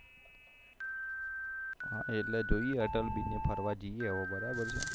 હા એટલે જોઈએ અતલ BRIDGE ફરવા જઈએ આવો બરાબર છે